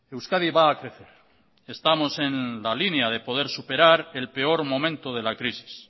euskadi va a crecer estamos en la línea de poder superar el peor momento de la crisis